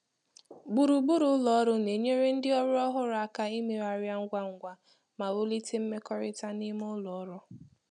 Gburugburu ụlọ ọrụ na-enyere ndị ọrụ ọhụrụ aka imegharia ngwá ngwá ma wulite mmekọrịta n’ime ụlọ ọrụ́.